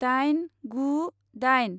दाइन गु दाइन